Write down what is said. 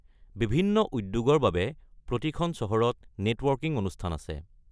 বিভিন্ন উদ্যোগৰ বাবে প্ৰতিখন চহৰত নেটৱৰ্কিং অনুষ্ঠান আছে।